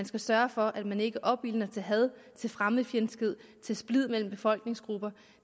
skal sørge for at man ikke opildner til had til fremmedfjendskhed til splid mellem befolkningsgrupper